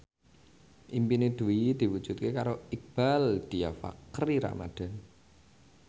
impine Dwi diwujudke karo Iqbaal Dhiafakhri Ramadhan